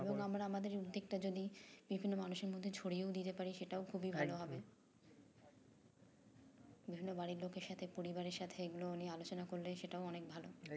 আমরা আমাদের উদ্যোগটা যদি বিভিন্ন মানুষের মধ্যে ছড়িয়েও দিতে পারি সেটাও খুবই ভালো হবে দুজনের বাড়ির লোকের সাথে পরিবারের সাথে এগুলো নিয়ে আলোচনা করলে সেটাও অনেক ভালো